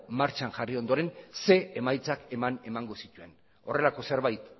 martxan jarri ondoren zein emaitzak eman emango zituen horrelako zerbait